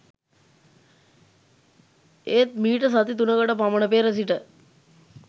ඒත් මීට සති තුනකට පමණ පෙර සිට